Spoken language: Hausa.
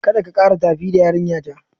Kada ka kara tafi da yarinyata!